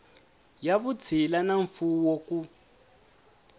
ya vutshila na mfuwo ku